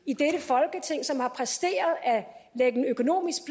i dette folketing som har præsteret at lægge en økonomisk